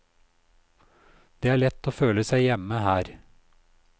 Det er lett å føle seg hjemme her.